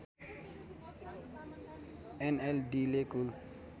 एनएलडीले कुल